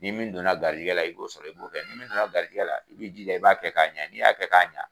Ni min donna gariyigɛ la, i b'o sɔrɔ, i b'o kɛ, ni min garijigɛ la i bi jija, i b'a kɛ k'a ɲɛ, n'i y'a kɛ k'a ɲa